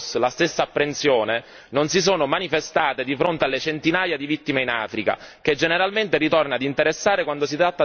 non si sono manifestate di fronte alle centinaia di vittime in Africa, che generalmente ritorna ad interessare quando si tratta di andarne a sfruttare le risorse.